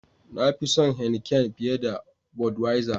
Na fi son "Heineken " fiye da " budwiser "